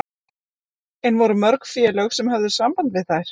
En voru mörg félög sem höfðu samband við þær?